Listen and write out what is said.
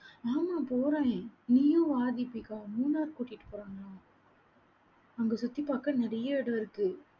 ஆமா, போறேன். நீயும் வா தீபிகா மூணார் கூட்டிட்டு போறாங்களாம். அங்க சுத்தி பாக்க நெறைய இடம் இருக்கு.